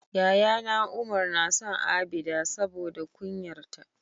yayana Umar nason abida saboda kunyar ta